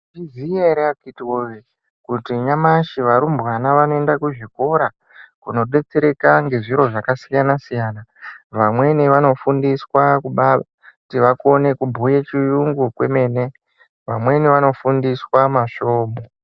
Mwaizviya ere akhithi woyee kuti nyamashi arumbwana vanoenda kuzvikora kundobetsereka zviro zvakasiyana siyana. Vamweni vanofundiswa kuti vaone kubhuya chiyungu kwemene. Vamweni vanofundiswa masvomhu.